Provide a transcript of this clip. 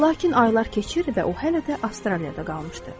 Lakin aylar keçir və o hələ də Avstraliyada qalmışdı.